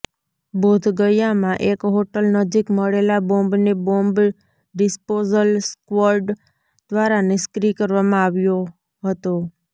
બોધગયામાં એક હોટલ નજીક મળેલા બોમ્બને બોમ્બ ડિસ્પોઝલ સ્ક્વોડ દ્વારા નિષ્ક્રિય કરવામાં આવ્યો હતો